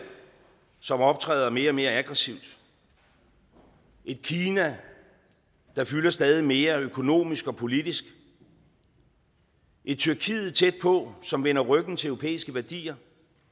som optræder mere og mere aggressivt et kina der fylder stadig mere økonomisk og politisk et tyrkiet tæt på som vender ryggen til europæiske værdier